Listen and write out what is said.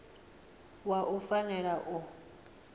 wa wua u fanela u